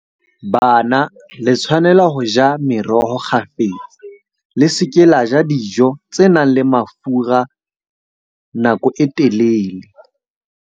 Bana le tshwanela ho ja meroho kgafetsa. Le se ke la ja dijo tse nang le mafura nako e telele.